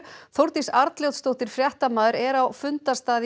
Þórdís Arnljótsdóttir fréttamaður er á fundarstað